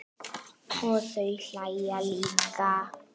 Og þau hlæja líka.